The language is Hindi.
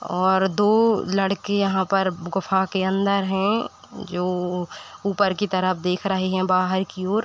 और दो लड़के यहाँ पर गुफ्हा के अन्दर हैं जो ऊपर की तरफ देख रहे हैं बहार की ओर।